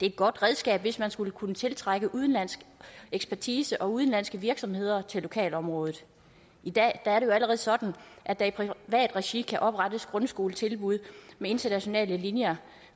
et godt redskab hvis man skal kunne tiltrække udenlandsk ekspertise og udenlandske virksomheder til lokalområdet i dag er det jo allerede sådan at der i privat regi kan oprettes grundskoletilbud med internationale linjer